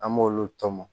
An b'olu tɔmɔ